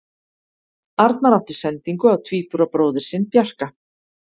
Arnar átti sendingu á tvíburabróðir sinn Bjarka.